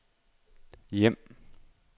hjem